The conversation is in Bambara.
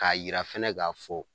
K'a yira fɛnɛ k'a fɔ